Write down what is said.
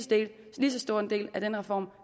stor en del af den reform